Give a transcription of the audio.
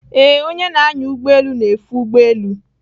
Ee, onye na-anya ụgbọelu na-efe ụgbọ elu.